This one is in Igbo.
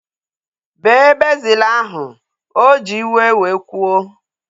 Bee bezil ahu! O ji iwe wee kwuo